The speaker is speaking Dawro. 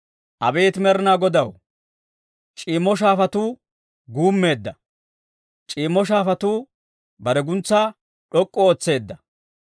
Abeet Med'inaa Godaw, c'iimmo shaafatuu guummeedda; c'iimmo shaafatuu bare guntsaa d'ok'k'u ootseedda.